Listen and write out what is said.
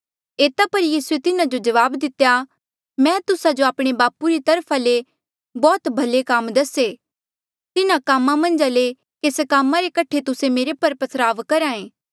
एता पर यीसूए तिन्हा जो जवाब दितेया मैं तुस्सा जो आपणे बापू री तरफा ले बौह्त भले काम दसे तिन्हा कामा मन्झा ले केस कामा रे कठे तुस्से मेरे पर पथराव करहा ऐें